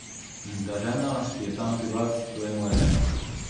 In ta žena, ki je tam pri vas, to je moja žena.